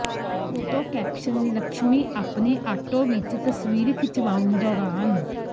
photo caption Lakshmi ਆਪਣੇ auto ਵਿੱਚ ਤਸਵੀਰ ਖਿਚਵਾਉਣ ਦੌਰਾਨ